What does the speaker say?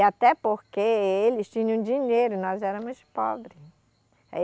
E até porque eles tinham dinheiro, nós éramos pobre.